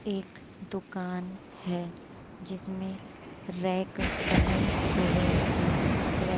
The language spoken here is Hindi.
एक दुकान है। जिसमें रैक बने हुए हैं। रै --